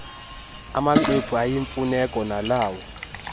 amaxwebhu ayimfuneko nalawo